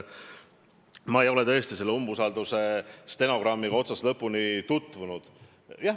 Ma ei ole selle päeva stenogrammiga otsast lõpuni tutvunud.